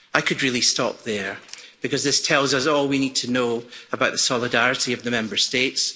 I could really stop there, because this tells us all we need to know about the solidarity of the Member States.